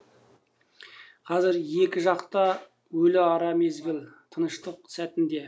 қазір екі жақта өліара мезгіл тыныштық сәтінде